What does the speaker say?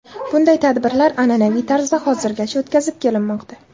Bunday tadbirlar an’anaviy tarzda hozirgacha o‘tkazib kelinmoqda.